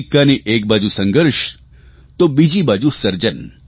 સિક્કાની એક બાજુ સંઘર્ષ તો બીજી બાજુ સર્જન